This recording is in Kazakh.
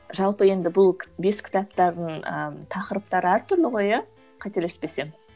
жалпы енді бұл бес кітаптардың ыыы тақырыптары әр түрлі ғой иә қателеспесем